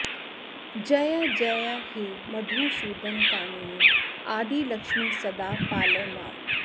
जयजय हे मधुसूदन कामिनि आदिलक्ष्मि सदा पालय माम्